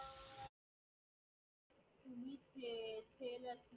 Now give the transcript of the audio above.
केले असते